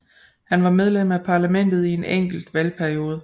Han var medlem af parlamentet i en enkelt valgperiode